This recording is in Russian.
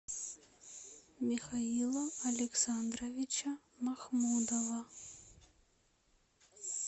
михаила александровича махмудова